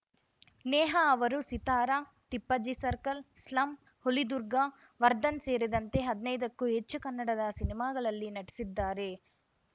ನೇಹಾ ಅವರು Sitara Tippajji circle slum Hulidurga Vardhan ಸೇರಿದಂತೆ ಹದಿನೈದಕ್ಕೂ ಹೆಚ್ಚು ಕನ್ನಡದ ಸಿನಿಮಾಗಳಲ್ಲಿ ನಟಿಸಿದ್ದಾರೆ